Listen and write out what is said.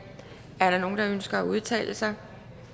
er der nogen der ønsker at udtale sig